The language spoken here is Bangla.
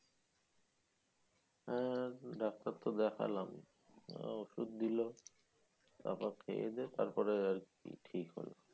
হ্যা ডাক্তার তো দেখালাম আহ ঔষধ দিল তারপর খেয়েদেয়ে তারপরে আরকি ঠিক হলাম